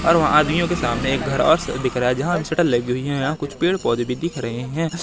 और वहां आदमियों के सामने एक घर और सा दिख रहा है जहां लगी हुई हैं यहां कुछ पेड़ पौधे भी दिख रहे है।